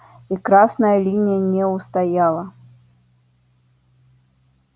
и красная линия не устояла